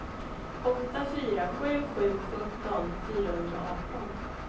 åtta fyra sju sju sjutton fyrahundraarton